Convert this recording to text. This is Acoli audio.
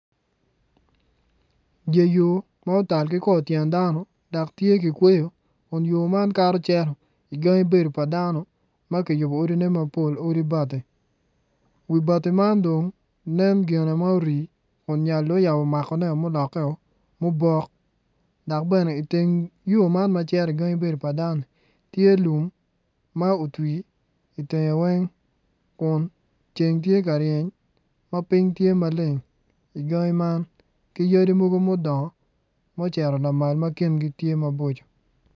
Dye yo ma otal ki kor tyen dano dok tye kikweyo kun yo man kato cito igangi bedo pa dano ma kiyubo odi bati wi bati man dong nen gine ma ori kun nyal dong oyabo makoneo ma olokkeo mubok dok bene iteng yo man ma cito igangi bedo pa dano-ni tye lum ma otwi itenge weng kun ceng tye ka ryeny ma piny tye maleng igangi man ki yadi mogo mudongo ma ocito lamal ma kingi itye ma boco.